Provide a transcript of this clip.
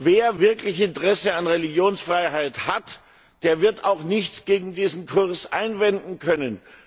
Wer wirklich Interesse an Religionsfreiheit hat, der wird auch nichts gegen diesen Kurs einwenden können.